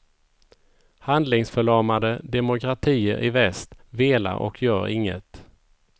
Handlingsförlamade demokratier i väst velar och gör inget.